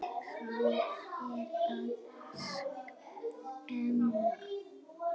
Hann er að skemma.